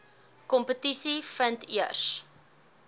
kompetisie vind eers